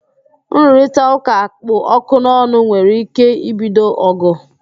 Nrụrịtaụ́ká kpụ ọkụ n'ọnụ nwere ike ibido ọ̀gụ̀